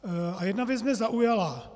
A jedna věc mě zaujala.